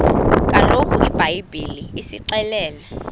kaloku ibhayibhile isixelela